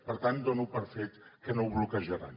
per tant dono per fet que no ho bloquejaran